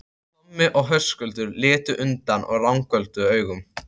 Tommi og Höskuldur litu undan og ranghvolfdu augunum.